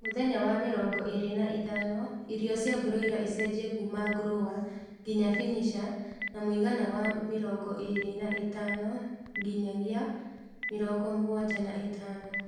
Mũthenya wa mĩrongo ĩlĩ na ithano, ilio cia broiler icenjie kuma grower nginya finisher na mũigana wa 25:75.